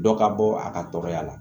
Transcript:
Dɔ ka bɔ a ka tɔgɔya la